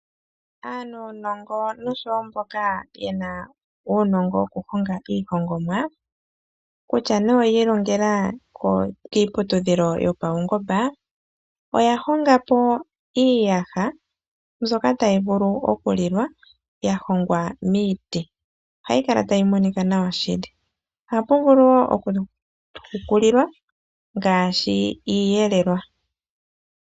Aanunongo noshowo mboka yena uunongo wokuhonga iihongomwa kutya oya sikola kiiputudhilo yopaungomba, oya honga po iiyaha mbyoka tayi vulu okulilwa ya hongwa miiti. Ohayi kala tayi monika nawa nohayi vulu okuhukulilwa ngaashi iiyelelwa.